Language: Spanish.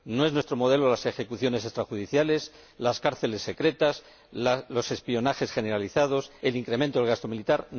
No son nuestro modelo las ejecuciones extrajudiciales, las cárceles secretas, los espionajes generalizados, el incremento del gasto militar.